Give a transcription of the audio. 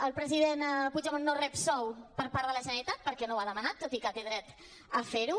el president puigdemont no rep sou per part de la generalitat perquè no ho ha demanat tot i que té dret a fer ho